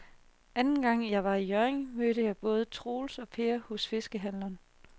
Anden gang jeg var i Hjørring, mødte jeg både Troels og Per hos fiskehandlerne.